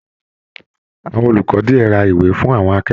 Àwọn olùkọ diẹ rà ìwé fún àwọn akẹ́kọ̀ọ́.